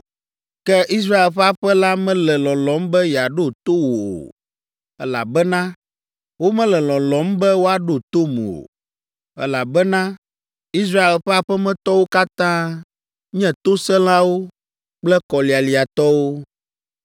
Ke Israel ƒe aƒe la mele lɔlɔ̃m be yeaɖo to wò o, elabena womele lɔlɔ̃m be woaɖo tom o, elabena Israel ƒe aƒemetɔwo katã nye tosẽlawo kple kɔlialiatɔwo.